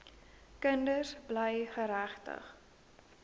kinders bly geregtig